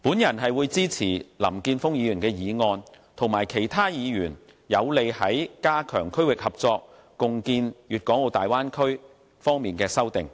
我會支持林健鋒議員的議案及其他議員有利於加強區域合作、共建粵港澳大灣區方面的修正案。